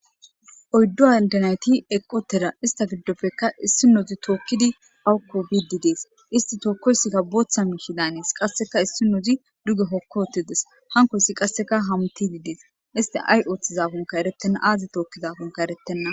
oyddo aldanayti eqqotera ista giddofekka issi noozi tookkidi awukko wididees isti tookkoysikka booththa mihi daanees qasseka issi nozi duge hokko otides hankoyssi qasseka hamti didees isti ay ooththizafunka erettenna aazi tookkizafunka erettenna